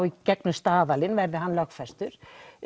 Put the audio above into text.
í gegnum staðallinn verði hann lögfestur